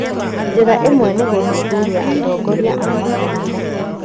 Njĩra ĩmwe nĩ gũthuthuria atongoria a makanitha